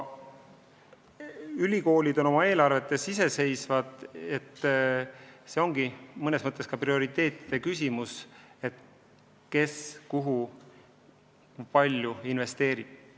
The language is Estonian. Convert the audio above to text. Ülikoolid on oma eelarvetes iseseisvad ja küsimus on prioriteetides, kes kuhu ja kui palju investeerib.